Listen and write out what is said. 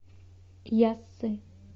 яссы